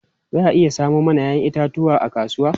Za a iya samo mana 'ya'yan itatuwa a kasuwa?